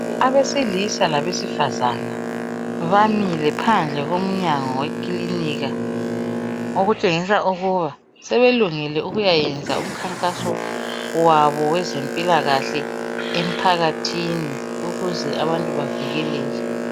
Abesilisa labesifazana bamile phandle komnyango wekilinika okutshengisa ukuba sebelungele ukuyayenza umkhankaso wabo wezempilakahle emphakathini ukuze abantu bavikeleke.